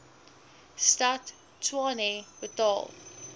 stad tshwane betaal